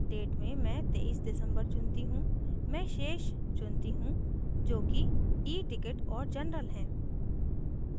date में मैं 23 december चुनती choose मैं शेष चुनती choose जो कि eticket और general हैं